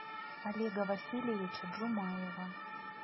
олега васильевича джумаева